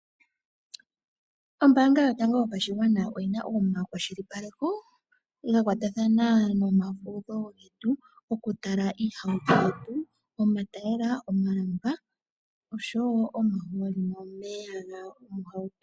Ombaanga yotango yopashigwana oyi na omakwashilipaleko ga kwatathana nomafudho getu okutala iihauto yetu, omatayiyela, omalamba osho wo omahooli nomeya gomohauto.